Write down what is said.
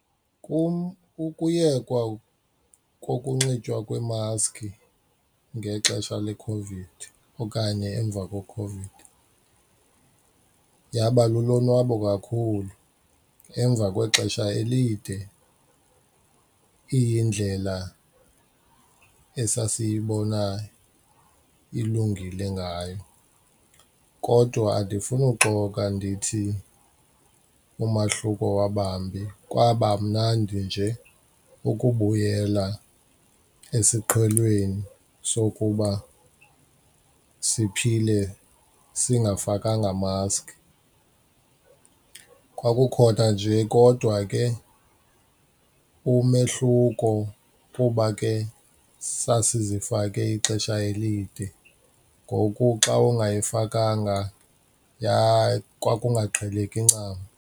Kum ukuyekwa kokunxitywa kweemaski ngexesha leCOVID okanye emva kweCOVID yaba lulonwabo kakhulu emva kwexesha elide iyindlela esasiyibona ilungile ngayo, kodwa andifuni uxoka ndithi umahluko wabambi kwaba mnandi nje ukubuyela esiqhelweni sokuba siphile singafakanga maski. Kwakukhona nje kodwa ke umehluko kuba ke sasizifake ixesha elide, ngoku xa ungayifakanga kwakungaqheleki ncam.